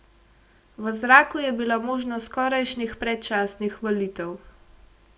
V zraku je bila možnost skorajšnjih predčasnih volitev.